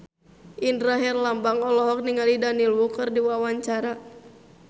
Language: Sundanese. Indra Herlambang olohok ningali Daniel Wu keur diwawancara